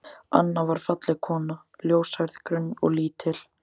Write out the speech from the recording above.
Anna var falleg kona, ljóshærð, grönn og lítil.